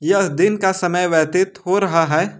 यह दिन का समय व्यतीत हो रहा है।